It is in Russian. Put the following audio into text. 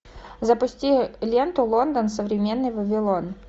запусти ленту лондон современный вавилон